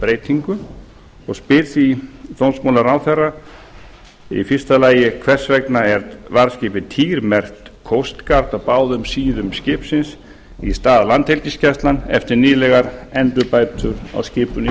breytingu og spyr því dómsmálaráðherra fyrsta hvers vegna er varðskipið týr merkt coast guard á báðum síðum skipsins í stað landhelgisgæslan eftir nýlegar endurbætur á skipinu í